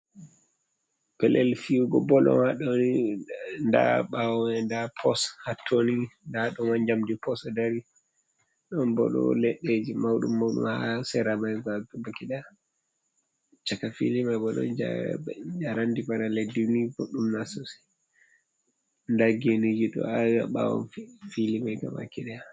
Pelel fi’ugo bol on haɗoni, nda ɓawo nda pos hattoni, nda ɗoma jamɗi pos dari ɗon pol leɗɗeji mauɗum mauɗum ha seramji caka fili bo njarandi bana leddini boɗɗum nasosai nda geniji ɗo awi haɓawo fili mai gaba kiɗaya.